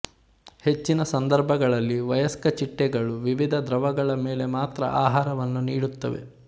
ಹೆಚ್ಚಿನ ಸಂದರ್ಭಗಳಲ್ಲಿ ವಯಸ್ಕ ಚಿಟ್ಟೆಗಳು ವಿವಿಧ ದ್ರವಗಳ ಮೇಲೆ ಮಾತ್ರ ಆಹಾರವನ್ನು ನೀಡುತ್ತವೆ